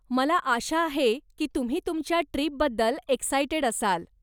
मला आशा आहे की तुम्ही तुमच्या ट्रीपबद्दल एक्सायटेड असाल.